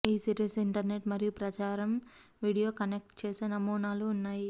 ఈ series internet మరియు ప్రసారం వీడియో కనెక్ట్ చేసే నమూనాలు ఉన్నాయి